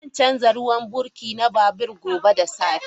Zan canza ruwan birki na babur gobe da safe.